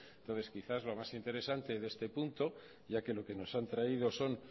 entonces quizá lo más interesante de este punto ya que lo que nos han traído son